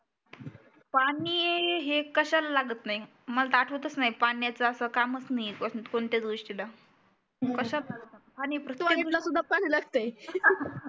पाणी हे कशाला लागत नाही मला आठवतच नाही पाण्याचा असं कामच नाही पासून कोणत्याच गोष्टीला कशात